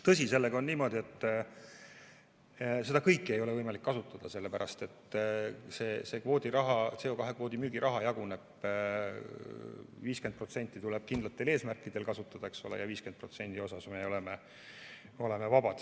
Tõsi, sellega on niimoodi, et seda kõike ei ole võimalik kasutada, sest see CO2 kvoodi müügi raha jaguneb nii, et 50% tuleb kindlatel eesmärkidel kasutada ja 50% kasutamises me oleme vabad.